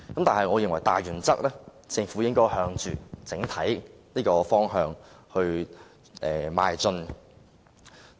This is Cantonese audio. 但是，我認為大原則是，政府應該朝着這個整體方向邁進。